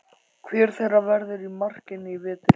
Hver þeirra verður í markinu í vetur?